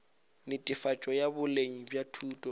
netefatšo ya boleng bja thuto